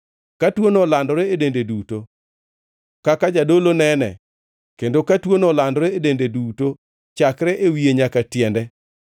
Ka tuono olandore e dende duto, kaka jadolo nene, kendo ka tuono olandore e dende duto chakre e wiye nyaka tiende,